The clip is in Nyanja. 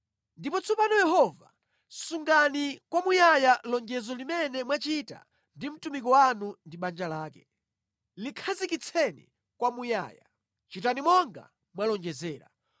“Ndipo tsopano Yehova, sungani kwamuyaya lonjezo limene mwachita ndi mtumiki wanu ndi banja lake, likhazikitseni kwamuyaya. Chitani monga mwalonjezera,